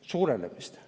suurenemist Eestis.